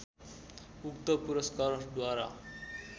उक्त पुरस्कारद्वारा